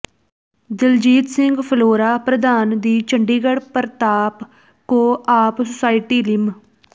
ਦਲਜੀਤ ਸਿੰਘ ਫਲੋਰਾ ਪ੍ਰਧਾਨ ਦੀ Chandigarh Partap co-op society ਲਿਮ